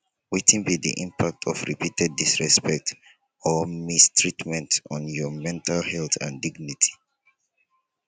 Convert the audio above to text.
wetin be di impact of repeated disrespect or mistreatment on your mental health and dignity